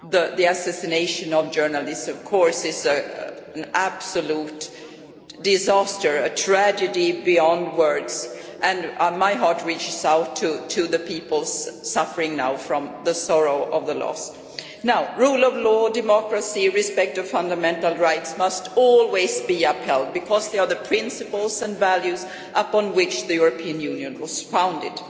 The assassination of journalists is an absolute disaster, a tragedy beyond words, and my heart reaches out to the people suffering now from the sorrow of the loss. Rule of law, democracy and respect for fundamental rights must always be upheld, because they are the principles and values upon which the European Union was founded.